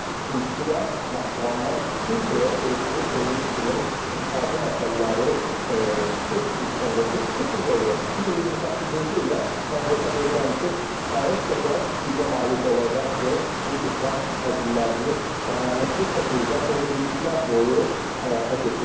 İkincisi də Naxçıvandan Türkiyəyə elektrik enerjisinin ixracı məsələləri beş il sonra heç beş il də yox, 2028-ci ilə mən hesab edirəm ki, kifayət qədər gücə malik olacaq ki, bu ixrac həcmlərini dayanıqlı şəkildə 10 illiklər boyu həyata keçirsin.